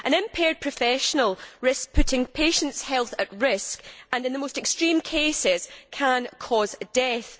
An impaired professional risks putting patients' health at risk and, in the most extreme cases, can cause death.